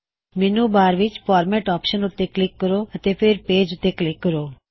ਮੈਨੂ ਬਾਰ ਵਿੱਚ format option ਉੱਤੇ ਕਲਿੱਕ ਕਰੋ ਅਤੇ ਫੇਰ ਪੇਜ ਉੱਤੇ ਕਲਿੱਕ ਕਰੋ